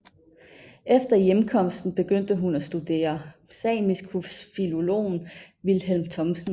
Efter hjemkomsten begyndte hun at studere samisk hos filologen Vilhelm Thomsen